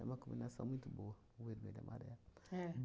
uma combinação muito boa, o vermelho e amarelo. É.